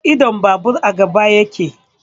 Idon babur a gaba yake